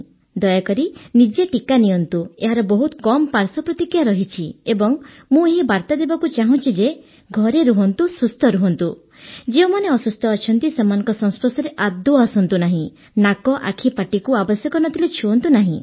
ଦୟାକରି ନିଜେ ଟିକା ନିଅନ୍ତୁ ଏହାର ବହୁତ କମ୍ ପାଶ୍ୱର୍ ପ୍ରତିକ୍ରିୟା ରହିଛି ଏବଂ ମୁଁ ଏହି ବାର୍ତା ଦେବାକୁ ଚାହୁଁଛି ଯେ ଘରେ ରୁହନ୍ତୁ ସୁସ୍ଥ ରହନ୍ତୁ ଯେଉଁମାନେ ଅସୁସ୍ଥ ଅଛନ୍ତି ସେମାନଙ୍କ ସଂସ୍ପର୍ଶରେ ଆସନ୍ତୁ ନାହିଁ ନାକ ଆଖି ପାଟିକୁ ଆବଶ୍ୟକ ନ ଥିଲେ ଛୁଅଁନ୍ତୁ ନାହିଁ